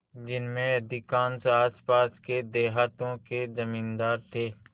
जिनमें अधिकांश आसपास के देहातों के जमींदार थे